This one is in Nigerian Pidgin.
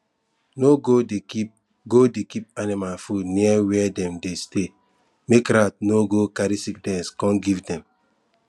no go dey keep go dey keep animal food near where dem dey stay make rat no go carry sickness come give dem